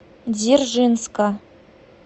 дзержинска